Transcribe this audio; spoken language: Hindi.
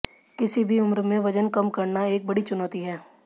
किसी भी उम्र में वजन कम करना एक बड़ी चुनौती है